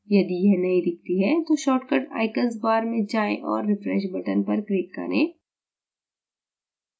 यदि यह नहीं दिखती है तो shortcut icons bar में जाएँ और refresh button पर click करें